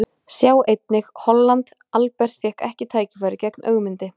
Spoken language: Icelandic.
Honum hafði tekist að lauma sér inn á Jólasveinasetrið í myrkrinu.